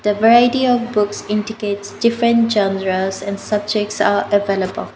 The variety of books indicates different generals and subjects are available.